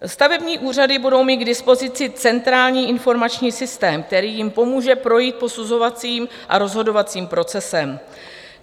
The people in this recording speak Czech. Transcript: Stavební úřady budou mít k dispozici centrální informační systém, který jim pomůže projít posuzovacím a rozhodovacím procesem.